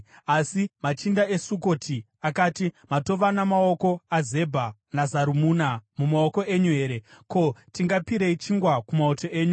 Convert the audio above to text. Asi machinda eSukoti akati, “Matova namaoko aZebha naZarumuna mumaoko enyu here? Ko, tingapirei chingwa kumauto enyu?”